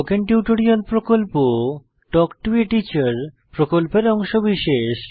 spoken tutorial প্রকল্প talk to a teacher প্রকল্পের অংশবিশেষ